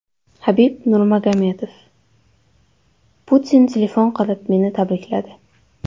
Habib Nurmagomedov: Putin telefon qilib meni tabrikladi.